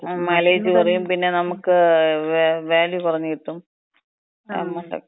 Mileage കുറയും. പിന്നെ നമ്മക്ക് വാല്യു കുറഞ്ഞ് കിട്ടും.